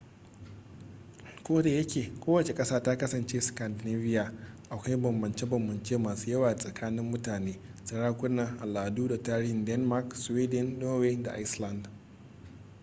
kodayake kowace ƙasa ta kasance 'scandinavia' akwai bambance-bambance masu yawa tsakanin mutane sarakuna al'adu da tarihin denmark sweden norway da iceland